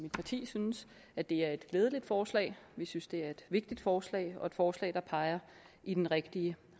mit parti synes at det er et glædeligt forslag vi synes det er et vigtigt forslag og et forslag der peger i den rigtige